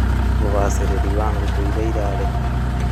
Ubacĩrĩri wa ngũkũ iria irarekia